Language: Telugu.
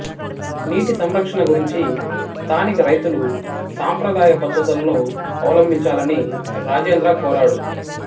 నీటి సంరక్షణ గురించి స్థానిక రైతులు సాంప్రదాయ పద్ధతులను అవలంబించాలని రాజేంద్ర కోరాడు